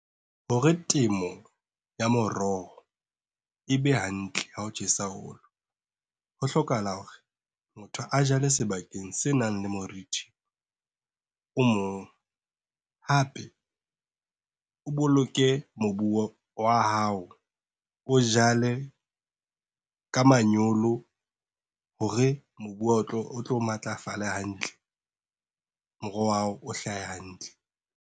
Hore temo ya moroho, e be hantle ha ho tjhesa haholo. Ho hlokahala hore motho a jale sebakeng se nang le morithi, o moholo. Hape, o boloke mobu wa hao, o jale, ka manyolo hore mobu wa hao o tlo matlafale hantle. Moroho wa hao o hlahe hantle.